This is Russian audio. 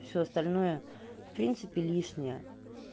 всё остальное в принципе лишнее